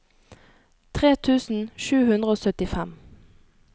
tre tusen sju hundre og syttifem